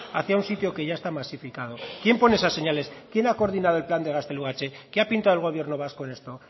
hacia un sitio que ya está masificado quién pone esas señales quién ha coordinado el plan de gaztelugatxe qué ha pintado el gobierno vasco en esto